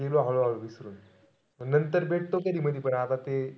गेलो हळूहळू विसरून. नंतर भेटतो कधी-मधी पण तेआता आपण ते,